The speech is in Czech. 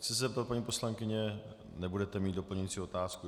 Chci se zeptat, paní poslankyně, nebudete mít doplňující otázku.